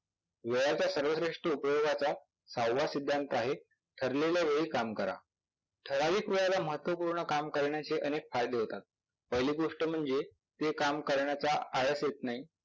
वेळाचा सर्व श्रेष्ठी उपयोगाचा सहावा सिद्धांत आहे ठरलेल्या वेळी काम करा. ठराविक वेळेला महत्वपूर्ण काम करण्याचे अनेक फायदे होतात. पहिली गोष्ट म्हणजे ते काम करण्याचा आळस येत नाही.